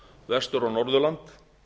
vestur á norðurland